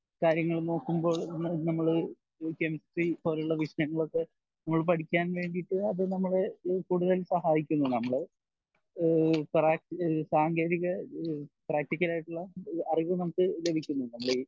കാര്യങ്ങൾ നോക്കുമ്പോൾ നമ്മൾ കെമിസ്ട്രി പോലുള്ള വിഷയങ്ങൾ ഒക്കെ പഠിക്കാൻ വെന്റിട്ട അത് നമ്മളെ കൂടുതൽ സഹായിക്കുന്നു നമ്മൾ ഈഹ് പ്രാ സാങ്കേതിക ഈഹ് പ്രാക്ടിക്കലായിട്ടുള്ള അറിവ് നമുക്ക് ലഭിക്കുന്നു നമ്മൾ ഈ